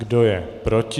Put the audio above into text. Kdo je proti?